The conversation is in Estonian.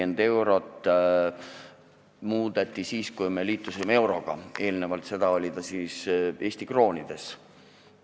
Eks seda muudeti siis, kui me liitusime euroga, eelnevalt oli see Eesti kroonides.